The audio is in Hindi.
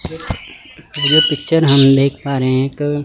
ये पिक्चर हम देख पा रहे हैं एक--